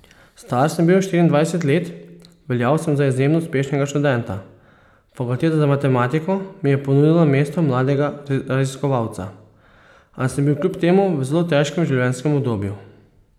Star sem bil štiriindvajset let, veljal sem za izjemno uspešnega študenta, fakulteta za matematiko mi je ponudila mesto mladega raziskovalca, a sem bil kljub temu v zelo težkem življenjskem obdobju.